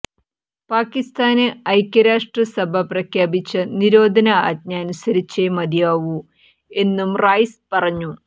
പാക്കിസ്ഥാന് ഐക്യ രാഷ്ട്ര സഭ പ്രഖ്യാപിച്ച നിരോധന ആജ്ഞ അനുസരിച്ചേ മതിയാവൂ എന്നും റൈസ് പറഞ്ഞു